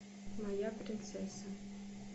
моя принцесса